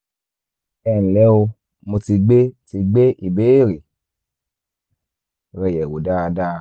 ẹ ǹlẹ́ o mo ti gbé ti gbé ìbéèrè rẹ yẹ̀wò dáadáa